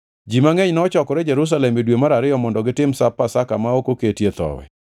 Ji mangʼeny nochokore Jerusalem e dwe mar ariyo mondo gitim Sap Makati ma ok oketie Thowi.